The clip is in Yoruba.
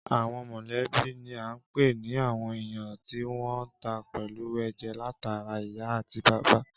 Àwọn mọ̀lẹ́bí ni à ń pè ní àwọn èèyàn tí wọ́n tan pẹ̀lú ẹ̀jẹ̀ látara ìyá àti bàbá